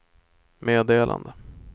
meddelade